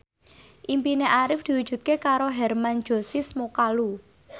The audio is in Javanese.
impine Arif diwujudke karo Hermann Josis Mokalu